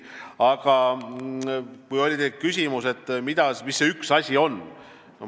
Aga teil oli küsimus, mis see üks asi on.